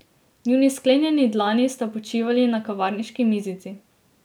Njuni sklenjeni dlani sta počivali na kavarniški mizici.